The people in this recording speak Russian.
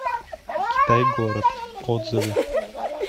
китай город отзывы